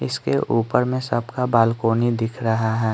इसके ऊपर में सबका बालकनी दिख रहा है।